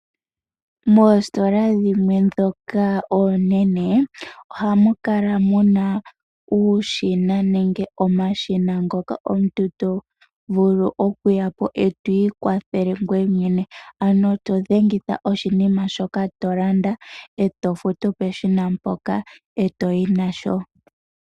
Moositola dhimwe ndhoka oonene ohamukala muna uushina nenge omashina ngoka omuntu tovulu okuyapo eto ikwathele ngoye mwene, ano todhengitha oshinima shoka tolanda etofutu peshina mpoka etoyi nasho.